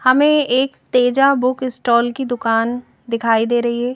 हमें एक Teja book stall की दुकान दिखाई दे रही है।